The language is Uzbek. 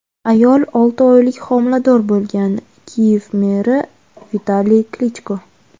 ayol olti oylik homilador bo‘lgan – Kiyev meri Vitaliy Klichko.